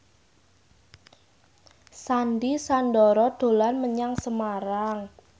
Sandy Sandoro dolan menyang Semarang